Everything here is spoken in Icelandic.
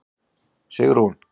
Sigrún